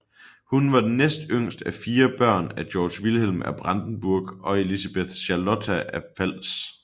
Hun var næst yngst af fire børn af Georg Vilhelm af Brandenburg og Elisabeth Charlotta af Pfalz